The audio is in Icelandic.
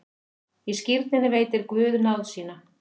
Í skírninni veitir Guð náð sína.